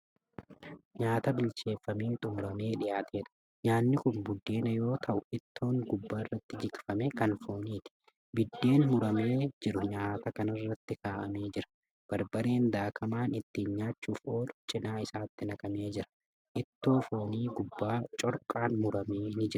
Nyaata bilcheeffamee xumuramee dhiyaatedha. nyaanni Kuni buddeena yoo ta'u ittiin gubbaarratti jikfamee Kan fooniti. biddeen muramee jiru nyaata kanaarratti kaa'amee jira. barbareen daakamaan ittiin nyaachuuf oolu cinaa isaatti naqamee jira. itroo foonii gubbaa corqaan mummurame ni Jira.